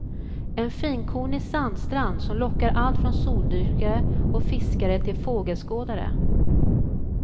En finkornig sandstrand som lockar allt från soldyrkare och fiskare till fågelskådare.